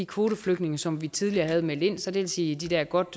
kvoteflygtninge som vi tidligere havde meldt ind så det vil sige de der godt